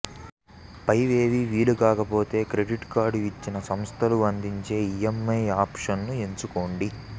పైవేవీ వీలుకాకపోతే credit card ఇచ్చిన సంస్థలు అందించే ఈఏంఐ ఆప్షన్ ను ఎంచుకోండి